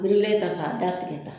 An mi n ta k'a datigɛ tan